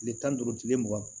Kile tan ni duuru kile mugan